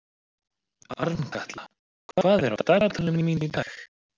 Arnkatla, hvað er á dagatalinu mínu í dag?